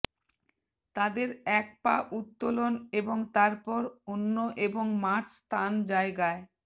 তাদের এক পা উত্তোলন এবং তারপর অন্য এবং মার্চ স্থান জায়গায়